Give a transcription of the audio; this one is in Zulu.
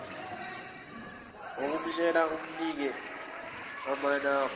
ukumtshela umnike amanamba